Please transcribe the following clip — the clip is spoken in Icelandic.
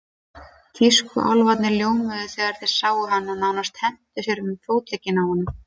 Tískuálfarnir ljómuðu þegar þeir sáum hann og nánast hentu sér um fótleggina á honum.